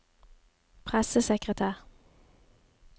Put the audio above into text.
pressesekretær